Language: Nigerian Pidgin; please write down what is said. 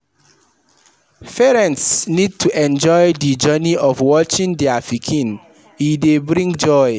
Parents need to enjoy di journey of watching their pikin, e dey bring joy